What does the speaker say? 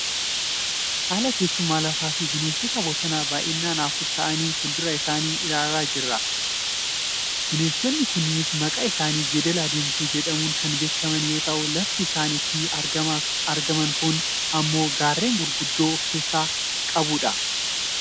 haala teessuma lafaafi bineensota bosonaa baayyinaan afur ta'anii fuuldura isaanii ilaalaa jiran argaa kan jirrudha. bineensonni kunneenis maqaan isaanii jeedala diimtuu jedhamuun kan beekaman yoo ta'u lafti isaan itti argaman kun ammoo gaarreen gurgudda kan of keessaa qabudha.